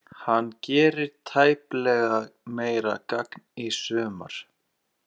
Hann gerir tæplega meira gagn í sumar.